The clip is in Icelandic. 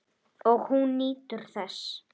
Og hún nýtur þess.